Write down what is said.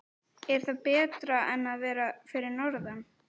Er það betra en að vera fyrir norðan?